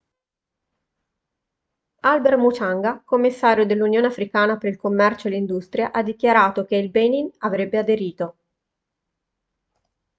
albert muchanga commissario dell'unione africana per il commercio e l'industria ha dichiarato che il benin avrebbe aderito